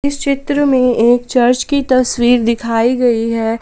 इस चित्र में एक चर्च की तस्वीर दिखाई गई है।